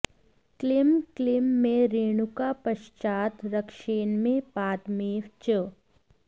क्लीं क्लीं मे रेणुका पश्चात् रक्षेन्मे पादमेव च